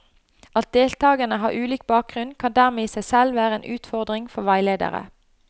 At deltakerne har ulik bakgrunn, kan dermed i seg selv være en utfordring for veileder.